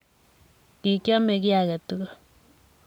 kikiame ki age tugul,